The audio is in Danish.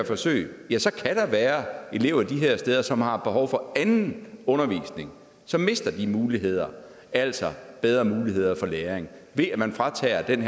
forsøg kan der være elever de steder som har behov for anden undervisning som mister de muligheder altså bedre mulighed for læring ved at man fratager dem